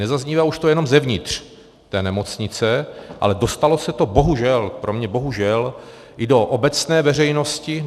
Nezaznívá už to jenom zevnitř té nemocnice, ale dostalo se to bohužel - pro mě bohužel - i do obecné veřejnosti.